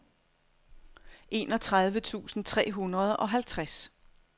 enogtredive tusind tre hundrede og halvtreds